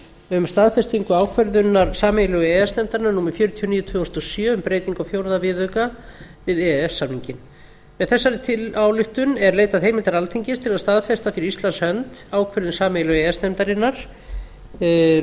um staðfestingu ákvörðunar sameiginlegu e e s nefndarinnar númer fjörutíu og níu tvö þúsund og sjö um breytingu á fjórða viðauka við e e s samninginn með þessari ályktun er leitað heimilda alþingis til að staðfesta fyrir íslands hönd ákvörðun sameiginlegu e e s nefndarinnar